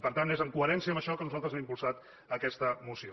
per tant és amb coherència amb això que nosaltres hem impulsat aquesta moció